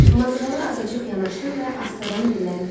Mazğala azacıq yanaşdı və astadan dilləndi.